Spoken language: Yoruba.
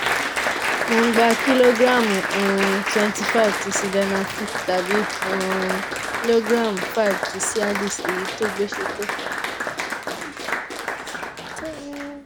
mo ń gba kílógíráàmù um twenty five ti sildenafil tàbí um ìlógíráàmù five ti cialis èyí tó gbéṣẹ́ tó